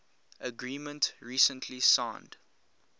agreement recently signed